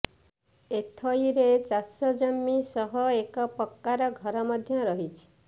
ଏଥଇରେ ଚାଷ ଜମି ସହ ଏକ ପକ୍କାର ଘର ମଧ୍ୟ ରହିଛି